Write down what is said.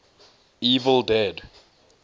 evil dead